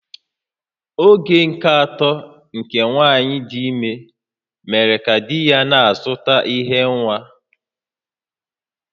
Oge nke atọ nke nwanyị dị ime mere ka di ya na-azụta ihe nwa